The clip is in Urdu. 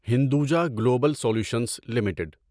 Hinduja Global Solutions limited